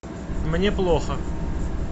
мне плохо